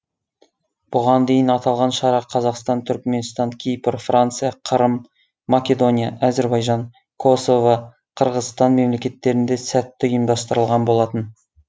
бұған дейін аталған шара қазақстан түркіменстан кипр франция қырым македония әзербайжан косово қырғызстан мемлекеттерінде сәтті ұйымдастырылған болатын